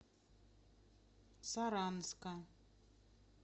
саранска